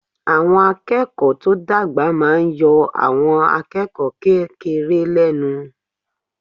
Àwọn akẹ́kọ̀ọ́ tó dàgbà máa yọ àwọn akẹ́kọ̀ọ́ kékeré lẹ́nu.